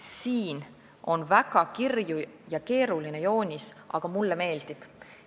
Siin on väga kirju ja keeruline joonis, aga mulle see meeldib.